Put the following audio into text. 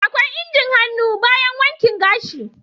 akwai injin hannu bayan wanki gashi.